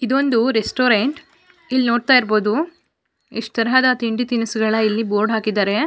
ಇದೊಂದು ರೆಸ್ಟೋರೆಂಟ್ ಇಲ್ ನೋಡ್ತಾ ಇರಬಹುದು ಯೆಸ್ಟ್ ತರಹದ ತಿಂಡಿ ತಿನಿಸುಗಳ ಇಲ್ಲಿ ಬೋರ್ಡ್ ಹಾಕಿದ್ದಾರೆ.